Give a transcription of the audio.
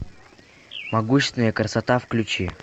могущественная красота включи